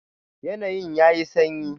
Yanayin yayi sanyi.